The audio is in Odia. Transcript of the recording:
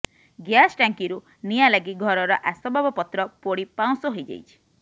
ଗ୍ୟାସ୍ ଟାଙ୍କିରୁ ନିଆଁ ଲାଗି ଘରର ଆସବାବପତ୍ର ପୋଡି ପାଉଁଶ ହୋଇଯାଇଛି